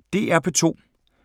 DR P2